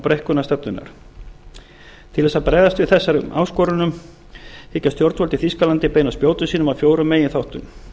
breikkunar stefnunnar til að bregðast við þessum áskorunum hyggjast stjórnvöld í þýskalandi beina spjótum sínum að fjórum meginþáttum